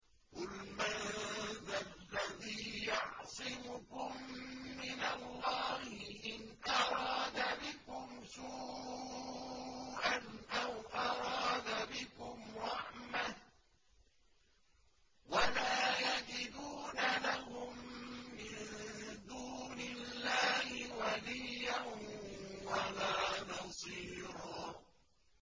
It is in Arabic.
قُلْ مَن ذَا الَّذِي يَعْصِمُكُم مِّنَ اللَّهِ إِنْ أَرَادَ بِكُمْ سُوءًا أَوْ أَرَادَ بِكُمْ رَحْمَةً ۚ وَلَا يَجِدُونَ لَهُم مِّن دُونِ اللَّهِ وَلِيًّا وَلَا نَصِيرًا